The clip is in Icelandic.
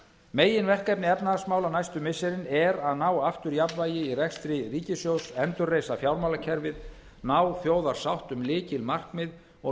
meginverkefni efnahagsmála næstu missirin er að ná aftur jafnvægi í rekstri ríkissjóðs endurreisa fjármálakerfið ná þjóðarsátt um lykilmarkmið og